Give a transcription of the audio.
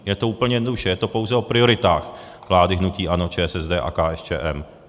Jde to úplně jednoduše, je to pouze o prioritách vlády hnutí ANO, ČSSD a KSČM.